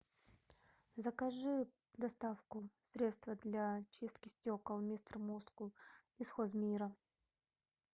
закажи доставку средство для чистки стекол мистер мускул из хоз мира